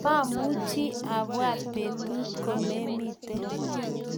mamuchi abwat betu ko memite